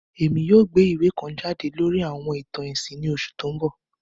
Èmi yoo gbé ìwé kan jade lórí àwọn ìtàn ẹ̀sìn ni oṣù to n bọ